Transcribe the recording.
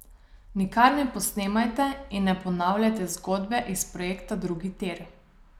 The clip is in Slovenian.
Nikar ne posnemajte in ne ponavljajte zgodbe iz projekta drugi tir.